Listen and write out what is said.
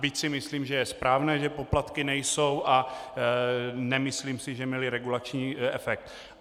Byť si myslím, že je správné, že poplatky nejsou, a nemyslím si, že měly regulační efekt.